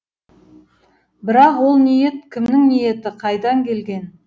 бірақ ол ниет кімнің ниеті қайдан келген